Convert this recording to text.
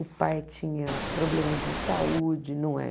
O pai tinha problemas de saúde, não é?